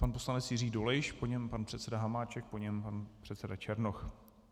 Pan poslanec Jiří Dolejš, po něm pan předseda Hamáček, po něm pan předseda Černoch.